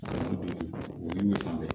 O ye misi de ye